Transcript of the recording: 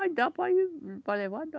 Aí dá para ir, para levar, dá.